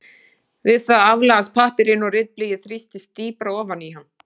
Við það aflagast pappírinn og ritblýið þrýstist dýpra ofan í hann.